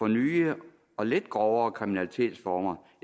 nye og lidt grovere kriminalitetsformer